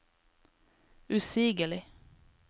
usigelig